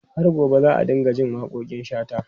Har gobe za a dinga jin waƙoƙin Shata.